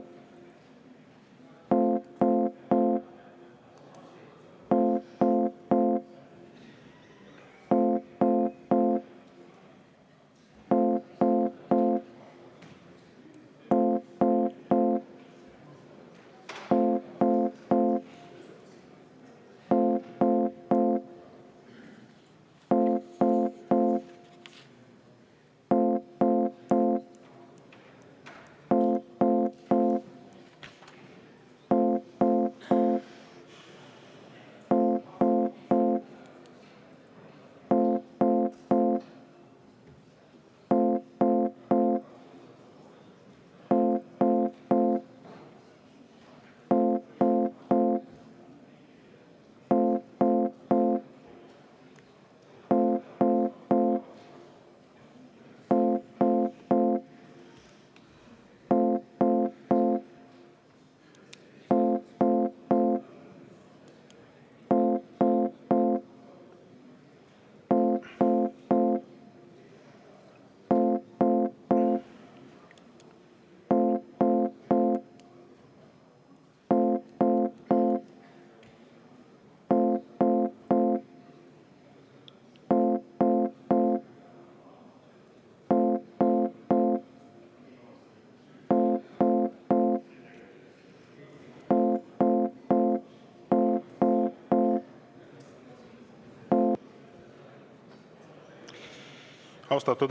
Austatud Riigikogu!